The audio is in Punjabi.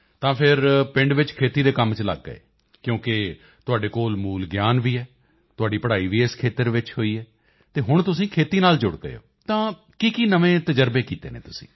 ਤਾਂ ਫਿਰ ਪਿੰਡ ਵਿੱਚ ਖੇਤੀ ਦੇ ਕੰਮ ਚ ਲੱਗ ਗਏ ਕਿਉਂਕਿ ਤੁਹਾਡੇ ਕੋਲ ਮੂਲ ਗਿਆਨ ਵੀ ਹੈ ਤੁਹਾਡੀ ਪੜ੍ਹਾਈ ਵੀ ਇਸ ਖੇਤਰ ਵਿੱਚ ਹੋਈ ਹੈ ਅਤੇ ਹੁਣ ਤੁਸੀਂ ਖੇਤੀ ਨਾਲ ਜੁੜ ਗਏ ਹੋ ਤਾਂ ਕੀਕੀ ਨਵੇਂ ਤਜ਼ਰਬੇ ਕੀਤੇ ਹਨ ਤੁਸੀਂ